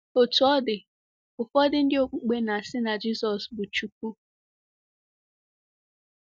Otú ọ dị, ụfọdụ ndị okpukpe na-asị na Jizọs bụ Chukwu..